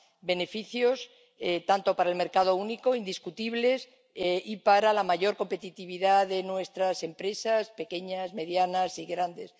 beneficios tanto para el mercado único —indiscutibles— y para la mayor competitividad de nuestras empresas pequeñas, medianas y grandes.